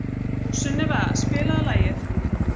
Sunneva, spilaðu lag.